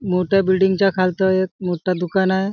मोठ्या बिल्डिंग च्या खालत एक मोठा दुकान आहे.